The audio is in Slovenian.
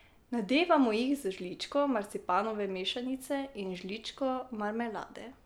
Nadevamo jih z žličko marcipanove mešanice in žličko marmelade.